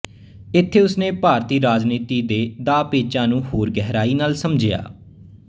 ਇੱਥੇ ਉਸਨੇ ਭਾਰਤੀ ਰਾਜਨੀਤੀ ਦੇ ਦਾਅਪੇਚਾਂ ਨੂੰ ਹੋਰ ਗਹਿਰਾਈ ਨਾਲ ਸਮਝਿਆ